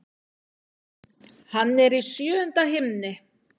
Hann er í sjöunda himni.